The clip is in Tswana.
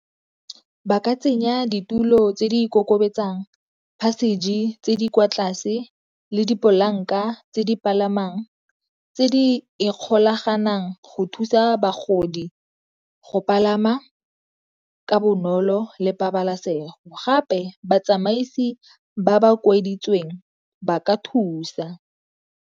Ba ka tsenya ditulo tse di ikokobetsang, passage tse di kwa tlase le dipolanka tse di palamang, tse di ikgolaganang go thusa bagodi go palama ka bonolo le pabalasego. Gape batsamaisi ba ba ba ka thusa.